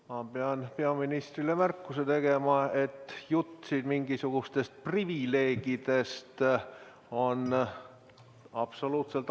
Ma pean peaministrile märkuse tegema, et jutt siin mingisugustest privileegidest on absoluutselt alusetu.